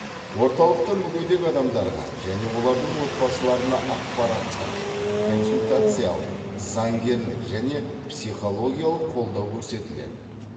орталықта мүгедек адамдарға және олардың отбасыларына ақпараттық консультациялық заңгерлік және психологиялық қолдау көрсетіледі